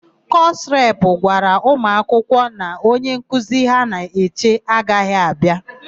Kọsụ repụ gwara ụmụakwụkwọ na onyenkuzi ha na-eche agaghị abịa.